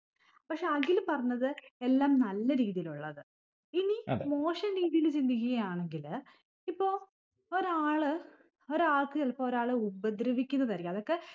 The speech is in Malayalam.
പക്ഷെ അഖില് പറഞ്ഞത് എല്ലാം നല്ല രീതിയിലുള്ളത് ഇനി മോശം രീതിയില് ചിന്തിക്കുകയാണെങ്കില് ഇപ്പൊ ഒരാള് ഒരാക്ക് ചിലപ്പൊ ഒരാളെ ഉപദ്രവിക്കുന്നത് ആയിരിക്കും അതൊക്കെ